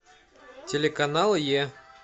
телеканал е